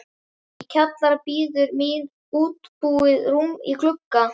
Í kjallara bíður mín uppbúið rúm í glugga